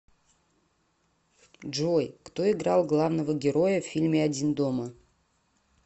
джой кто играл главного героя в фильме один дома